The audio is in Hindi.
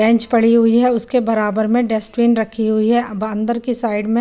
बेंच पड़ी हुई है उसके बराबर में डस्टबिन रखी हुई है अब अन्दर की साइड में --